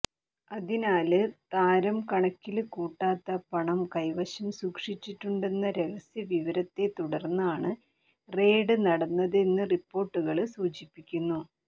അതിനാല് താരം കണക്കില് കൂട്ടാത്ത പണം കൈവശം സൂക്ഷിച്ചിട്ടുണ്ടെന്ന രഹസ്യവിവരത്തെ തുടര്ന്നാണ് റെയ്ഡ് നടന്നതെന്ന് റിപ്പോര്ട്ടുകള് സൂചിപ്പിക്കുന്നു